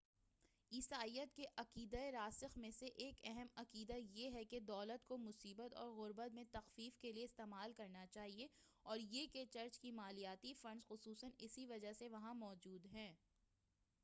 عیسائیت کے عقیدۂ راسخ میں سے ایک اہم عقیدہ یہ ہے کہ دولت کو مصیبت اور غربت میں تخفیف کے لیے استعمال کرنا چاہیئے اور یہ کہ چرچ کے مالیاتی فنڈز خصوصاً اسی وجہ سے وہاں موجود ہیں